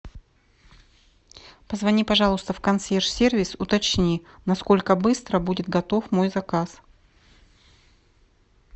позвони пожалуйста в консьерж сервис уточни на сколько быстро будет готов мой заказ